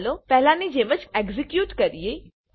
ચાલો પહેલાની જેમ એક્ઝેક્યુટ કરીએ